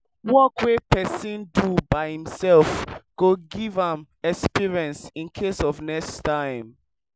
work wey pesin do by imself go give am experience incase of next time